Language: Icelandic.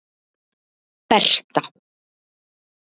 Berta